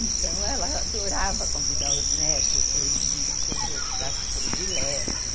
Então, ela adorava convidar os netos para eles virem comer os pratos prediletos.